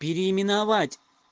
переименовать